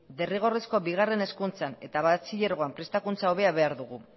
derrigorrezko bigarren hezkuntzan eta batxilergoan prestakuntza hobea behar dugu